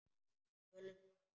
Tölum saman.